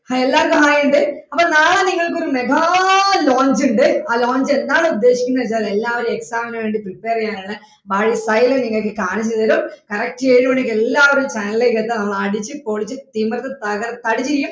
hai എല്ലാർക്കും hai ഉണ്ട് അപ്പൊ നാളെ നിങ്ങൾക്ക് ഒരു mega launch ഉണ്ട് ആ launch എന്താണ് ഉദ്ദേശിക്കുന്നതെന്ന് വച്ചാല് എല്ലാവരും exam ന് വേണ്ടി prepare ചെയ്യാനുള്ള പ്‌സൈലം നിങ്ങൾക്ക് കാണിച്ച് തരും correct ഏഴുമണിക്ക് എല്ലാവരും channel ലേക്ക് എത്തണം നമ്മൾ അടിച്ച് പൊളിച്ച് തിമിർത്തു തകർത്ത്